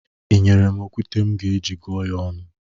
Ị nyere m okwute m ga-eji gụọ ya ọnụ?